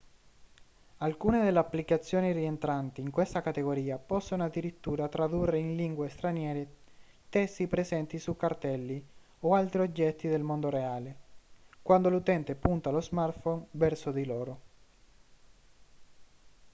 alcune delle applicazioni rientranti in questa categoria possono addirittura tradurre in lingue straniere testi presenti su cartelli o altri oggetti del mondo reale quando l'utente punta lo smartphone verso di loro